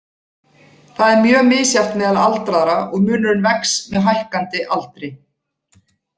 Það er mjög misjafnt meðal aldraðra og munurinn vex með hækkandi aldri.